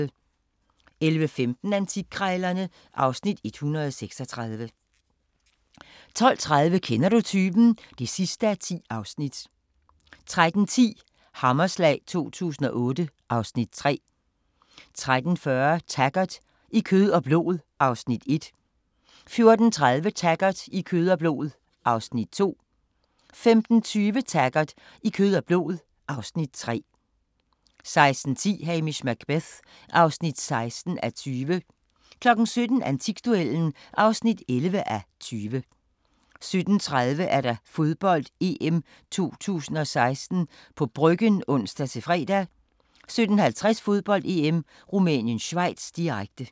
11:15: Antikkrejlerne (Afs. 136) 12:30: Kender du typen? (10:10) 13:10: Hammerslag 2008 (Afs. 3) 13:40: Taggart: I kød og blod (Afs. 1) 14:30: Taggart: I kød og blod (Afs. 2) 15:20: Taggart: I kød og blod (Afs. 3) 16:10: Hamish Macbeth (16:20) 17:00: Antikduellen (11:20) 17:30: Fodbold: EM 2016 – på Bryggen (ons-fre) 17:50: Fodbold: EM - Rumænien-Schweiz, direkte